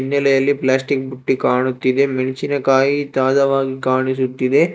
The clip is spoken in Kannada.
ಹಿನ್ನೆಲೆಯಲ್ಲಿ ಪ್ಲಾಸ್ಟಿಕ್ ಬುಟ್ಟಿ ಕಾಣುತ್ತಿದೆ ಮೆಣಸಿನಕಾಯಿ ತಾಜ ವಾಗಿ ಕಾಣುತ್ತಿದೆ.